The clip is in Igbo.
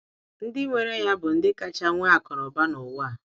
Ndi nwere ya bụ ndị kacha nwe akụnaụba n'ụwa a!